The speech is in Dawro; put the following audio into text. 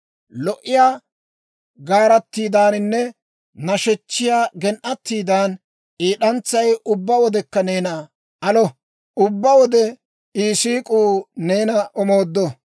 Lo"iyaa gaaratidaaninne nashechchiyaa gen"atiidan, I d'antsay ubbaa wodekka neena alo; ubbaa wode I siik'uu neena omooddo.